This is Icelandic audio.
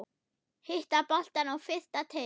Hitta boltann á fyrsta teig.